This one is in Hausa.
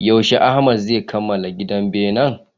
Yaushe Ahmad zai kamala gina benen?